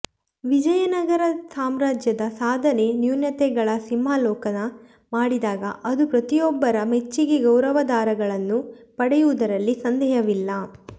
ವಿಜಯನಗರ ಸಾಮ್ರಾಜ್ಯದ ಸಾಧನೆ ನ್ಯೂನತೆಗಳ ಸಿಂಹಾವಲೋಕನ ಮಾಡಿದಾಗ ಅದು ಪ್ರತಿಯೊಬ್ಬರ ಮೆಚ್ಚಿಗೆ ಗೌರವಾದಾರಗಳನ್ನು ಪಡೆಯುವುದರಲ್ಲಿ ಸಂದೇಹವಿಲ್ಲ